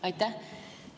Aitäh!